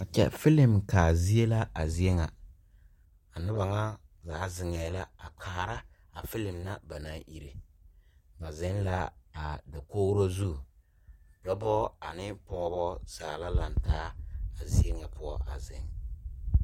Filim kaa zeɛ la a zeɛ nga a nuba nga gaa zengɛɛ la a kaara a filim na banang ire ba zeng la a dakouri zu dɔba ane pɔgba zaa la langtaa a zeɛ nga pou a zeng.